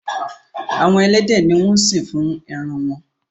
Àwọn elédè ní wón sín fún èràn wón.